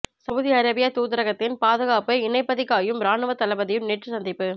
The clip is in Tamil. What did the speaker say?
சவுதி அரேபிய தூதரகத்தின் பாதுகாப்பு இணைப்பதிகாயும் இராணுவ தளபதியும் நேற்று சந்திப்பு